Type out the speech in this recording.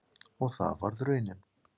Og það varð raunin.